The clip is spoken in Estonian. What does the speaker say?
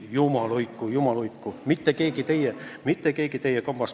Jumal hoidku, mitte keegi teist – mitte keegi!